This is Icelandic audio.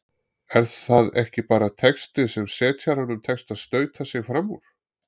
Er það ekki bara texti sem setjaranum tekst að stauta sig frammúr?